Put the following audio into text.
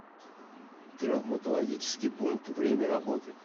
травматологический пункт время работы